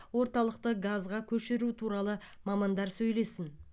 орталықты газға көшіру туралы мамандар сөйлесін